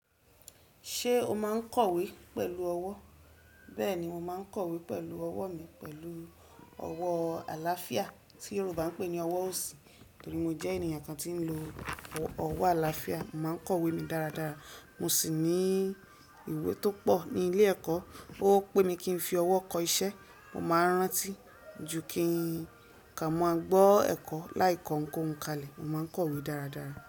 Ṣé o máa kọ̀wé pẹ̀lú ọwọ́? Bẹ́ẹ̀ni mò máa n kọ̀wé pẹ̀lú ọwọ́ mi, pẹ̀lú ọwọ́ àlàáfíà tí Yorùbá n pè ní ọwọ́ òsì. Nítorí mò jẹ́ ènìyàn kan tí ń lo ọwọ́ àlàáfíà, mò máa ń kọ̀wé mi dáradára. Mo sì ní ìwé tó pọ̀ ní ilé ẹ̀kọ́. Ó pé kí n fi ọwọ́ kọ iṣẹ́, mò máa rántí ju kí n ká máa gbọ́ ẹ̀kọ́ láì kọ ohunkoún kalẹ̀. Mò máa kọ̀wé dáradára.